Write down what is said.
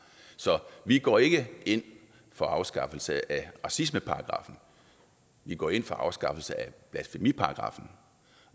så vi går ikke ind for afskaffelse af racismeparagraffen vi går ind for afskaffelse af blasfemiparagraffen